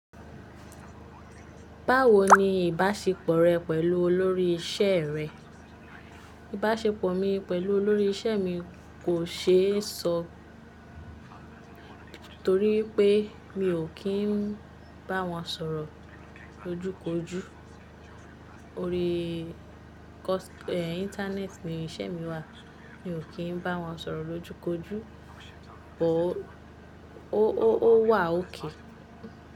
Báwo ni ìbáṣepọ̀ rẹ pẹ̀lú olórí isẹ́ rẹ? Ìbáṣepọ̀ mi pẹ̀lú olórí isẹ́ mi kò ṣe é ṣọ, torí wípé mi ò kí n bá wọn sọ̀rọ̀ lójú kojú. Orí internet ni isẹ́ mi wà. Mi ò kí n bá wọn sọ̀rọ̀ lójú kojú, but ó wà ok.